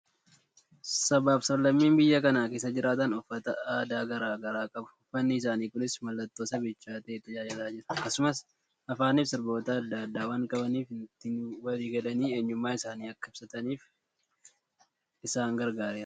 Sabaa fi sablammiin biyya kana keessa jiraatan uffata aadaa garaa garaa qabu. Uffani isaanii kunis mallattoo sabichaa ta'ee tajaajilaa jira. Akkasumas afaanii fi sirboota adda addaa waan qabaniif ittiin walii galanii eenyummaa isaanii akka ibsataniif isaan gargaareera.